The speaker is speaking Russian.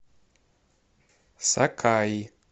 сакаи